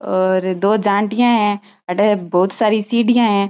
और दो जानटीया है अठे बहोत सारी सीढिया है।